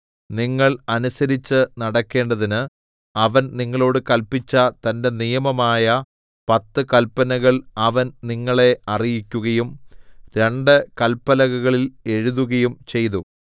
നിങ്ങൾ അനുസരിച്ച് നടക്കേണ്ടതിന് അവൻ നിങ്ങളോട് കല്പിച്ച തന്റെ നിയമമായ പത്ത് കല്പനകൾ അവൻ നിങ്ങളെ അറിയിക്കുകയും രണ്ട് കല്പലകകളിൽ എഴുതുകയും ചെയ്തു